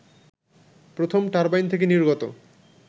প্রথম টারবাইন থেকে নির্গত